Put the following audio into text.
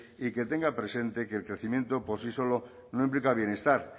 y que tenga presente que el crecimiento por si solo no implica bienestar